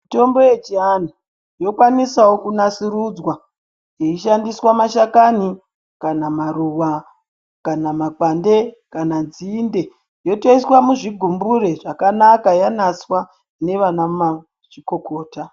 Mitombo yechianhu yokwanisawo kunasurudzwa yeishandiswa mashakani, kana maruva, kana makwande , kana nzinde yotoiswa muzvigumbure zvakanaka yanaswa nevana mazvikokota.